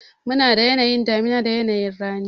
Munada yanayin damuna da yanayi rani.